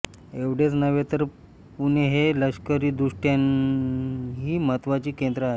एवढेच नव्हे तर पुणे हे लष्करीदृष्ट्याही महत्त्वाचे केंद्र आहे